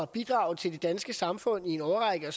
bidrage til det danske samfund i en årrække og